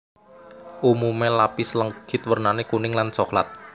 Umumé lapis legit wernané kuning lan coklat